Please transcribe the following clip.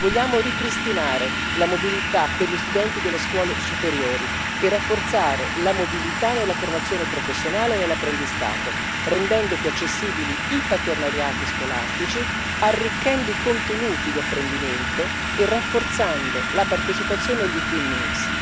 Vogliamo ripristinare la mobilità per gli studenti delle scuole superiori e rafforzare la mobilità nella formazione professionale e nell'apprendistato, rendendo più accessibili i partenariati scolastici, arricchendo i contenuti di apprendimento e rafforzando la partecipazione all' e Twinning